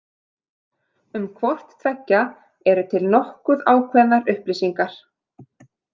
Um hvort tveggja eru til nokkuð ákveðnar upplýsingar.